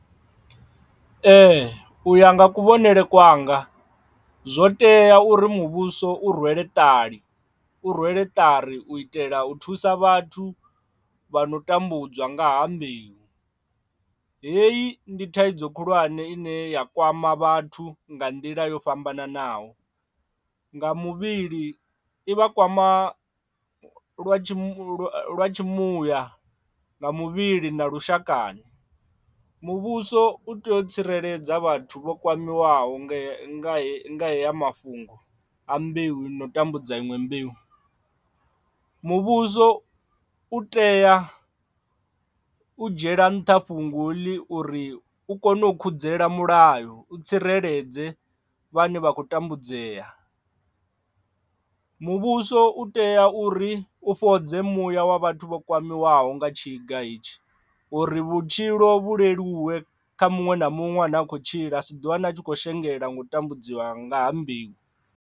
Ee u ya nga kuvhonele kwanga zwo tea uri muvhuso u rwele ṱali u rwele ṱari u itela u thusa vhathu vha no tambudzwa nga ha mbeu hei ndi thaidzo khulwane ine ya kwama vhathu nga nḓila yo fhambananaho. Nga muvhili i vha kwama lwa tshimuya nga muvhili na lushakani muvhuso u tea u tsireledza vhathu vho kwamiwa nga haya mafhungo a mbeu i no tambudza iṅwe mbeu. Muvhuso u tea u dzhiela nṱha fhungo heḽi uri u kone u khudzela mulayo u tsireledze vhane vha khou tambudzea, muvhuso u tea uri u fhodze muya wa vhathu vho kwamiwaho nga tshiga hetshi uri vhutshilo vhu leluwe kha muṅwe na muṅwe a ne a khou tshila a si ḓi wane a tshi khou shengela ngo tambudziwa nga ha mbeu.